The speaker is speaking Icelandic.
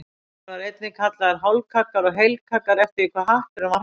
Þeir voru einnig kallaðir hálfkaggar og heilkaggar eftir því hve hatturinn var hár.